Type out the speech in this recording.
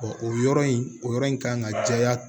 o yɔrɔ in o yɔrɔ in kan ka jɛya